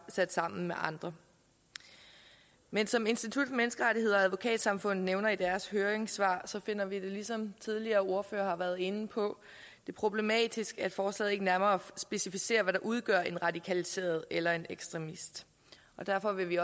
sat sammen med andre men som institut for menneskerettigheder og advokatsamfundet nævner i deres høringssvar finder vi det som tidligere ordførere har været inde på problematisk at forslaget ikke nærmere specificerer hvad der udgør en radikaliseret eller en ekstremist derfor vil vi